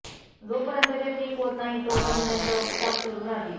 जोपर्यंत ते ठीक होत नाहीत तोपर्यंत त्यांच्यावर उपचार सुरू राहतील